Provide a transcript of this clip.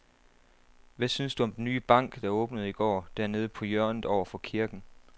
Hvad synes du om den nye bank, der åbnede i går dernede på hjørnet over for kirken?